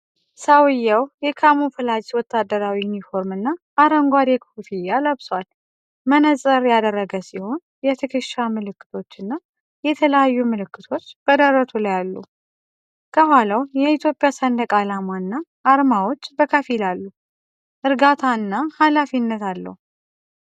ሰውየው የካሙፍላጅ ወታደራዊ ዩኒፎርም እና አረንጓዴ ኮፍያ ለብሷል። መነፅር ያደረገ ሲሆን፣ የትከሻ ምልክቶችና የተለያዩ ምልክቶች በደረቱ ላይ አሉ። ከኋላው የኢትዮጵያ ሰንደቅ ዓላማ እና አርማዎች በከፊል አሉ። እርጋታ እና ሃላፊነት አለው።